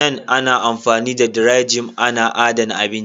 Nan amfani da "dry-Jin " ana adana abinci.